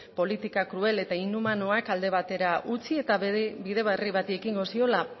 politika krudel eta inhumanuak alde batera utzi eta bide berri bati ekingo ziola